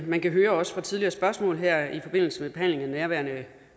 man kan høre også fra tidligere spørgsmål her i forbindelse med behandlingen af nærværende